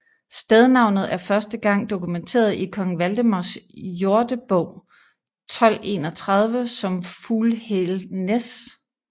Stednavnet er første gang dokumenteret i Kong Valdemars Jordebog 1231 som Fughælsnæs